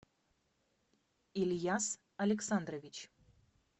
ильяс александрович